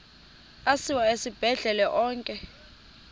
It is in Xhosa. asiwa esibhedlele onke